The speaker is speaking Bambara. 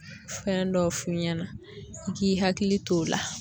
Fɛn dɔ f'u ɲɛna i k'i hakili to o la.